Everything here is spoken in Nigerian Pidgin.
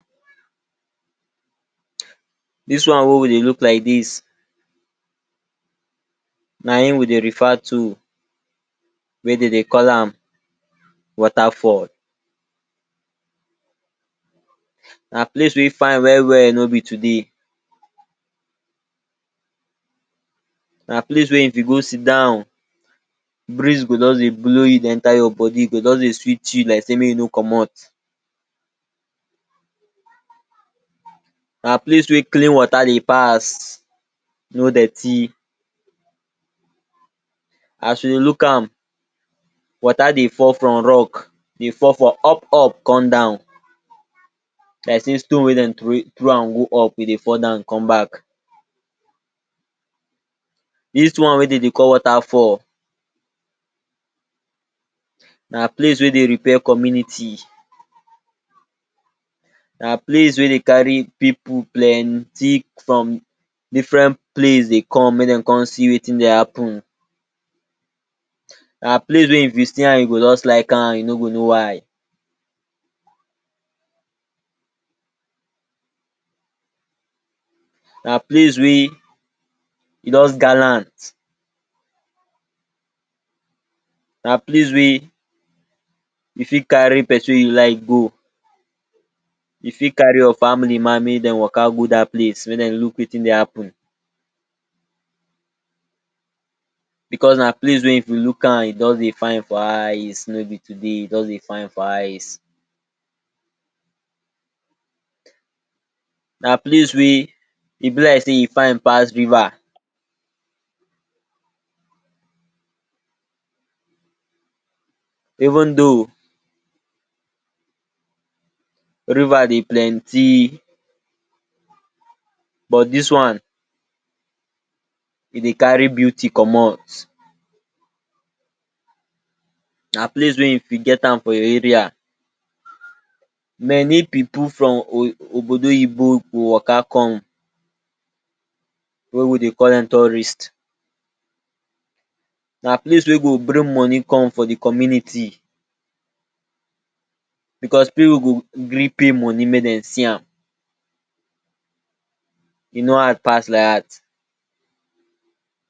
Dis one wey we dey look like dis, na im we dey refer to wey de dey call am water fall. Na place wey fine well-well no be today. Na place wey if you go sit down, breeze go juz dey blow you, dey enter your bodi. E go juz dey sweet you like sey make you comot. Na place wey clean water dey pass, no dirty. As you dey look am, water dey fall from rock, dey fall for up-up con down like sey stone wey den throwway throw an go up e dey fall down con back. Dis one wey de dey call water fall, na place wey dey repair community, na place wey dey carry pipu plenti from different place dey come make de con see wetin dey happen, na place wey if you see an you go juz like an you no go know why. Na place wey e juz gallant. Na place wey you fit carry pesin wey you like go. You fit carry your family man make den waka go dat place make den look wetin dey happen becos na place wey if you look an e juz dey fine for eyes no be today, e juz dey fine for eyes. Na place wey e be like sey e fine pass river. Even though river dey plenti, but dis one, e dey carry beauty comot. Na place wey if you get am, for your area, many pipu from obodo oyinbo go waka come, wey we dey call dem tourist. Na place wey go bring money come for di community becos pipu go gree pay money make den see am. E no hard pass like dat.